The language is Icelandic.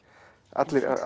allir